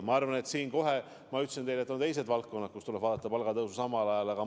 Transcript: Ma ütlesin teile, et on ka teised valdkonnad, kus tuleb palgatõusu samal ajal vaadata.